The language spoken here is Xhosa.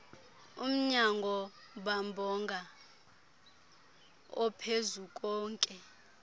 umnyango bambonga ophezukonke